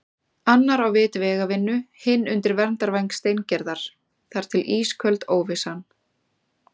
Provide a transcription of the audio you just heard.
Annar á vit vegavinnu, hinn undir verndarvæng Steingerðar- þar til ísköld óvissan.